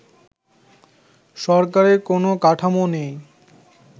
সরকারের কোন কাঠামো নেই